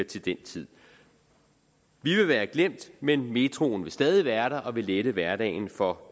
til den tid vi vil være glemt men metroen vil stadig være der og vil lette hverdagen for